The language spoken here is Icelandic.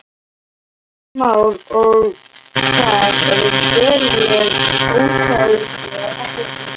Heimir Már: Og það eru veruleg óþægindi af þessu?